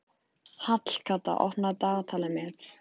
Hallkatla, opnaðu dagatalið mitt.